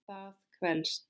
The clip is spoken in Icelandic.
Það kvelst.